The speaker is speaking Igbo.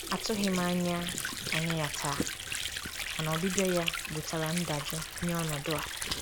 Atụghị m anya anya ya taa, mana ọbịbịa ya wetara ndajụ nye ọnọdụ a.